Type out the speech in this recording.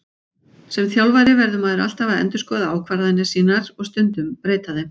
Sem þjálfari verður maður alltaf að endurskoða ákvarðanir sínar og stundum breyta þeim.